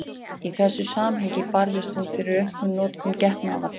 Í þessu samhengi barðist hún fyrir aukinni notkun getnaðarvarna.